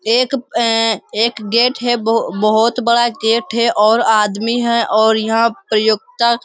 एक अ एक गेट है बहु बहुत बड़ा गेट है और आदमी है और यहाँ प्रयोगता --